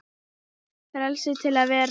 Frelsi til að vera.